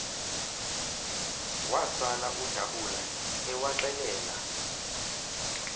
wasala udabula ewaxelela